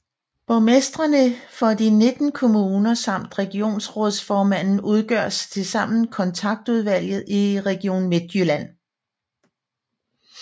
Borgmestrene for de 19 kommuner samt regionsrådsformanden udgør tilsammen Kontaktudvalget i Region Midtjylland